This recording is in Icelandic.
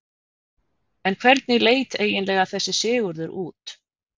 En hvernig leit eiginlega þessi Sigurður út?